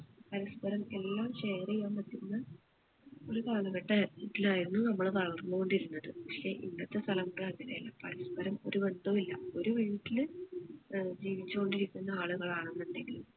പരസ്പ്പരം എല്ലാം share ചെയ്യാൻ പറ്റുന്ന ഒരു കാലഘട്ടം ആയിരു ത്തിലായിരുന്നു നമ്മൾ വളർന്നുകൊണ്ടിരുന്നത് പക്ഷെ ഇന്നത്തെ അങ്ങനെ അല്ല പരസ്പരം ഒരു ബന്ധം ഇല്ല ഒരു വീട്ടില് ഏർ ജീവിച്ചുകൊണ്ടിരിക്കുന്ന ആളുകൾ ആണെന്നിണ്ടെങ്കിൽ